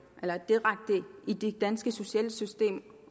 i det danske sociale system